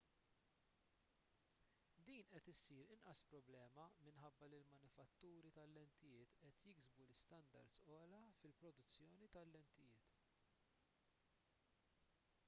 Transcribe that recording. din qed issir inqas problema minħabba li l-manifatturi tal-lentijiet qed jiksbu standards ogħla fil-produzzjoni tal-lentijiet